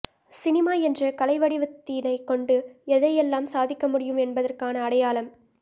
cinema என்ற கலைவடிவத்தினைக் கொண்டு எதையெல்லாம் சாதிக்க முடியும் என்பதற்கான அடையாளம்